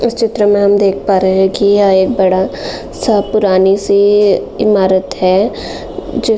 इस चित्र में हम देख पा रहे है कि यह एक बड़ा सा पुरानी-सी इमारत है जो --